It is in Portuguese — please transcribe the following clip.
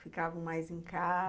Ficavam mais em casa?